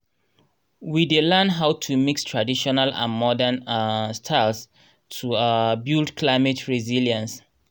um we fdey learn how to mix traditional and modern um styles to um build climate resilience